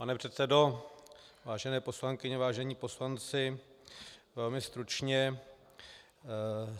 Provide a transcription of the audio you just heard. Pane předsedo, vážené poslankyně, vážení poslanci, velmi stručně.